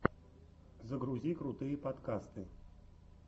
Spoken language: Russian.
загрузи крутые подкасты